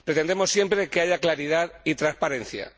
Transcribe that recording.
Pretendemos siempre que haya claridad y transparencia.